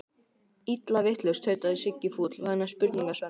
Illa vitlaus, tautaði Siggi fúll vegna spurningar Svenna.